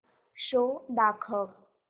show दाखव